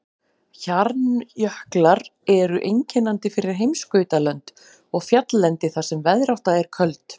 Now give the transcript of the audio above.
Hjarnjöklar eru einkennandi fyrir heimskautalönd og fjalllendi þar sem veðrátta er köld.